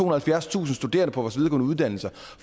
og halvfjerdstusind studerende på vores videregående uddannelser